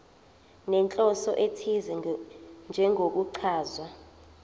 nenhloso ethize njengokuchaza